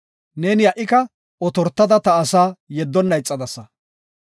Neeni ha77ika otortada ta asaa yeddonna ixadasa.